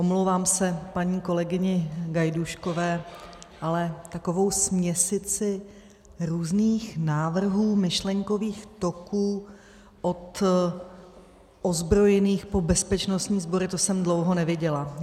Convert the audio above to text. Omlouvám se paní kolegyni Gajdůškové, ale takovou směsici různých návrhů, myšlenkových toků od ozbrojených po bezpečnostní sbory, to jsem dlouho neviděla.